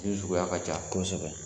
Min suguya ka ca, kosɛbɛ